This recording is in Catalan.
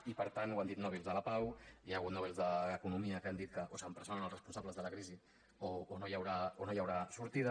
i per tant ho han dit nobels de la pau hi ha hagut nobels d’economia que han dit que o s’empresonen els responsables de la crisi o no hi haurà sortida